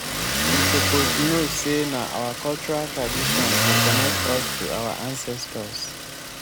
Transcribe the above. you suppose know sey na our cultural traditions dey connect us to our ancestors.